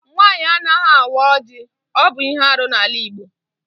Nwaanyị anaghị awa ọjị. Ọ bụ ihe árú n'ala igbo